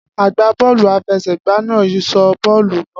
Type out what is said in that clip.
Agbá bọ́ọ̀lù àfẹsẹ̀gba náà sọ bọ́ọ̀lù náà